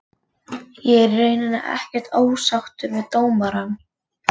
Ég er í rauninni ekkert ósáttur við dómarann.